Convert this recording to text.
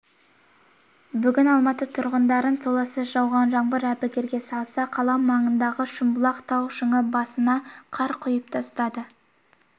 бүгін алматы тұрғындарын толассыз жауған жаңбыр әбігерге салса қала маңындағы шымбұлақ тау-шаңғы базасына қар құйып тастады